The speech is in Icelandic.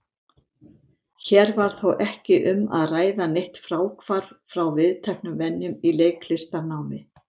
Hér var þó ekki um að ræða neitt fráhvarf frá viðteknum venjum í leiklistarnámi.